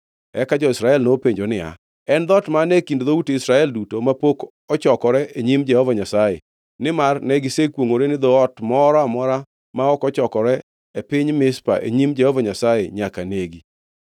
Eka jo-Israel nopenjo niya, “En dhoot mane e kind dhout Israel duto mapok ochokore e nyim Jehova Nyasaye?” Nimar ne gisekwongʼore ni dhoot moro amora ma ok ochokore e piny Mizpa e nyim Jehova Nyasaye nyaka negi.